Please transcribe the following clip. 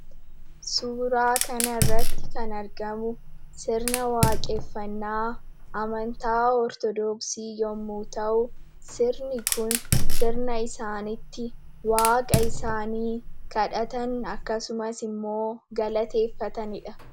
Suuraa kanarratti kan argamu sirna waaqeffannaa amantaa Ortodoksii yommuu ta'u, sirni kun sirna isaan itti waaqa isaanii kadhatan akkasumas immoo galateeffatani dha.